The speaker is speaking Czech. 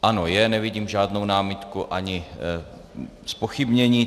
Ano, je, nevidím žádnou námitku ani zpochybnění.